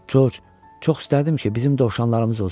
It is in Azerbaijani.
Corc, çox istərdim ki, bizim dovşanlarımız olsun.